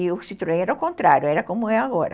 E o Citroën era o contrário, era como é agora.